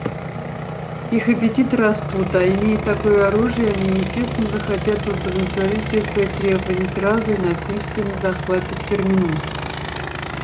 их аппетиты растут а имея такое оружие они естественно захотят удовлетворить все свои требования сразу и насильственно захватят терминус